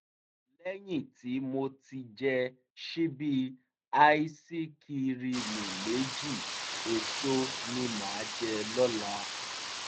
lẹ́yìn tí tí mo ti jẹ ṣíbí áísikirimù méjì èso ni màá jẹ lọ́la